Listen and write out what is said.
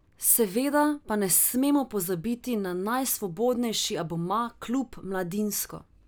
Seveda pa ne smemo pozabiti na najsvobodnejši abonma Klub Mladinsko.